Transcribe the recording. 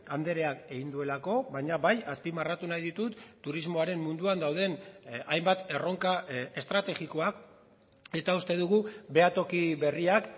andreak egin duelako baina bai azpimarratu nahi ditut turismoaren munduan dauden hainbat erronka estrategikoak eta uste dugu behatoki berriak